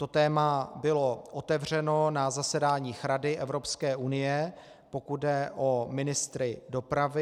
To téma bylo otevřeno na zasedáních Rady Evropské unie, pokud jde o ministry dopravy.